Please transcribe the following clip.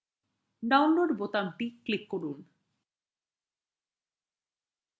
download বোতামটি click করলাম